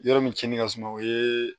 Yɔrɔ min tiɲɛni ka suma o ye